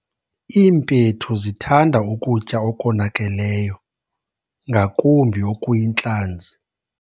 Iimpethu zithanda ukutya okonakeleyo ngakumbi okuyintlanzi.